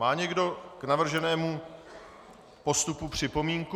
Má někdo k navrženému postupu připomínku?